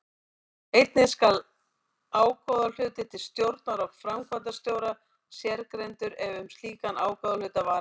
Einnig skal ágóðahluti til stjórnar og framkvæmdastjóra sérgreindur ef um slíkan ágóðahluta var að ræða.